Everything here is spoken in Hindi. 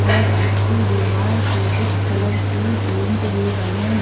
और उसके दीवार पे कुछ कलरफुल प्रिंट भी बने--